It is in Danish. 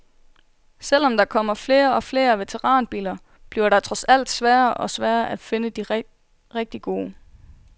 Selv om der kommer flere og flere veteranbiler, bliver det trods alt sværere og sværere at finde de rigtig gode.